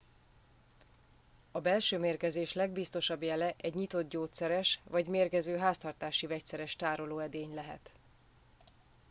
a belső mérgezés legbiztosabb jele egy nyitott gyógyszeres vagy mérgező háztartási vegyszeres tárolóedény lehet